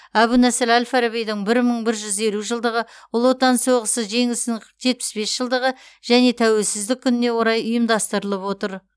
әбу насыр әл фарабидың бір мың бір жүз елу жылдығы ұлы отан соғысы жеңісінің жетпіс бес жылдығы және тәуелсіздік күніне орай ұйымдастырылып отыр